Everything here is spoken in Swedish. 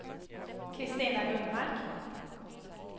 Christina Lundmark